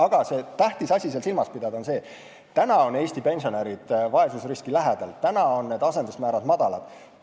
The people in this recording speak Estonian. Aga tähtis on seejuures silmas pidada, et praegu on Eesti pensionärid vaesusriski lähedal, praegu on asendusmäärad madalad.